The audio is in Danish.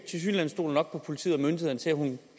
stoler nok på politiet og myndighederne til at hun